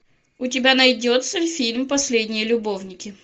у тебя найдется фильм последние любовники